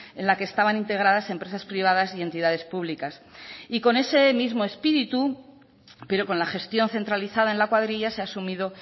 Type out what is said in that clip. en la que estaban integradas empresas privadas y entidades públicas y con ese mismo espíritu pero con la gestión centralizada en la cuadrilla se ha asumido